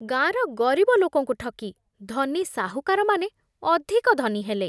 ଗାଁର ଗରିବ ଲୋକଙ୍କୁ ଠକି ଧନୀ ସାହୁକାରମାନେ ଅଧିକ ଧନୀ ହେଲେ।